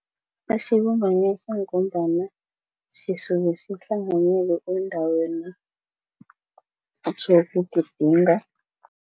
Asibumbanisa ngombana sisuke sihlanganyele eendaweni zokugidinga.